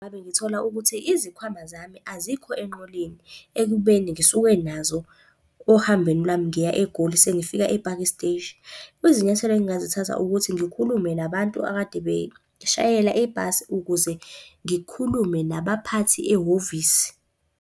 Ngabe ngithola ukuthi izikhwama zami azikho enqoleni ekubeni ngisuke nazo ohambweni lami ngiya eGoli sengifika ePaki Steshi. Izinyathelo engingazithatha ukuthi ngikhulume nabantu akade beshayela ebhasi, ukuze ngikhulume nabaphathi ehhovisi.